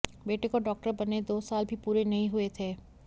बेटे को डॉक्टर बने दो साल भी पूरे नहीं हुए थे